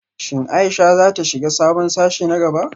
Shin Ayesha za ta shiga sabon sashe na gaba?